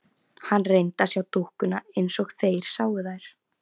Hann reyndi að sjá dúkkuna eins og þeir sáu þær.